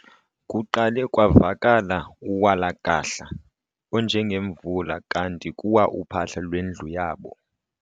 Kuqale kwavakala uwalakahla onjengemvula kanti kuwa uphahla lwendlu yabo..